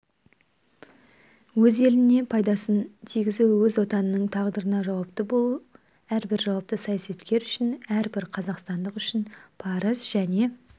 өз еліне пайдасын тигізу өз отанының тағдырына жауапты болу әрбір жауапты саясаткер үшін әрбір қазақстандық үшін парыз және